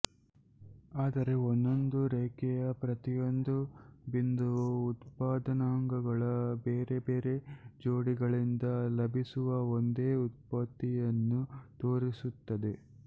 ಆದರೆ ಒಂದೊಂದು ರೇಖೆಯ ಪ್ರತಿಯೊಂದು ಬಿಂದುವೂ ಉತ್ಪಾದನಾಂಗಗಳ ಬೇರೆ ಬೇರೆ ಜೋಡಿಗಳಿಂದ ಲಭಿಸುವ ಒಂದೇ ಉತ್ಪತ್ತಿಯನ್ನು ತೋರಿಸುತ್ತದೆ